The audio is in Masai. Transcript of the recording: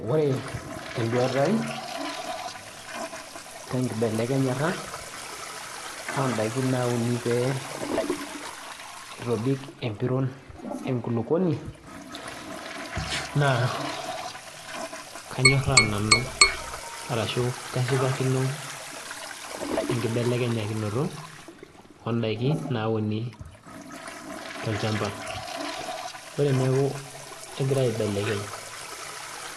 Ore eduata ai, tenkibelekenyata odaiki nauni pee itobik empiron enkulukuoni, naa kanyorraa nanu arashu kashipakino enkibelekenyakinoto, odaikin nauni tolchamba. Ore eneku kegirai aibelekeny